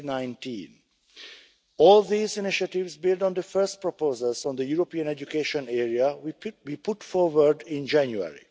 of 2019. All these initiatives build on the first proposals on the European education area we put forward in January.